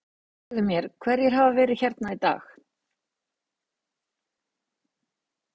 Segðu mér, hverjir hafa verið hérna í dag?